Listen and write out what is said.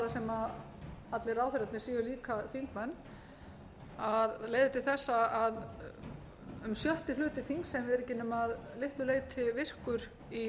sem allir ráðherrarnir séu líka þingmenn leiði til þess að um sjötti hluti þings er ekki nema að litlu leyti virkur í